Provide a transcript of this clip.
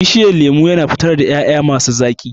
Bishiyan lemu yana fitar ƴaƴa masi zaƙi.